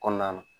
Kɔnɔna na